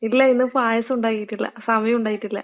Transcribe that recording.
ഇല്ല ഇന്ന് പായസം ഉണ്ടാക്കീട്ടില്ല, സമയം ഉണ്ടായിട്ടില്ല.